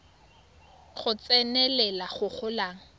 go tsenelela go go golang